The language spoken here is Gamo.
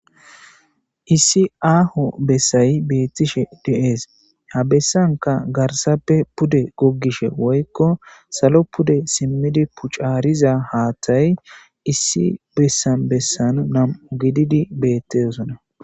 Issi aho bessay betishe dees ha besanka garsappe pude woykko salo pude simidi pintharida hathay issi besan besan nam'u gididi betees.